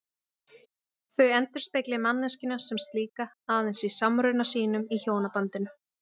En samtímis söfnuðu Svíar ótæpilega og héldu áfram að prenta sögur.